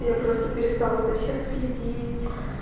я просто перестала за всем следить